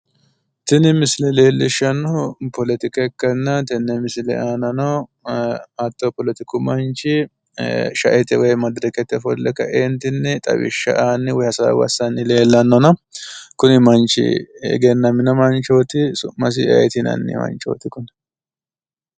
Tini missile leellishshannohu poletika ikkanna tenne misile aanano hatto poletiku manchi sha"ete woy madirakete ofolle ka"eentinni xawishsha aanni woy hasaawa assanni leellanno kuni manchi egannamino manchooti su'masi ayeeti yinanni manchooti kuni?